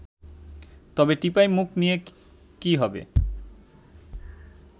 তবে টিপাইমুখ নিয়ে কী হবে